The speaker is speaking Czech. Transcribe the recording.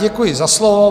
Děkuji za slovo.